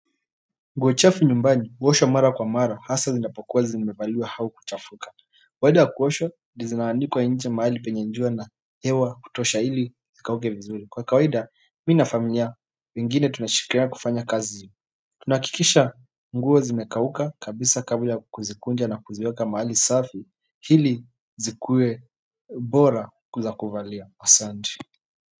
Nguo chafu nyumbani, huoshwa mara kwa mara, hasa zinapokuwa zinimevaliwa au kuchafuka baada ya kuoshwa zina anikwa nje mahali penye jua na hewa kutosha ili zikauke vizuri kwa kawaida, mi na familia, wengine tunashirikiana kufanya kazi. Tunahakikisha nguo zimekauka kabisa kabla kuzikunja na kuziweka mahali safi, ili zikuwe bora za kuvalia asanti.